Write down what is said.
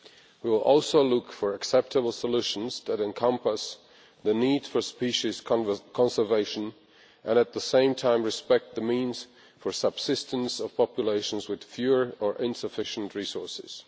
We will also look for acceptable solutions that encompass the need for species conservation and at the same time respect the means for subsistence of populations with fewer or insufficient resources.